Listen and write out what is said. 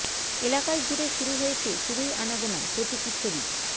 এলাকায়জুড়ে শুরু হয়েছে শুধুই আনাগোণা প্রতীকী ছবি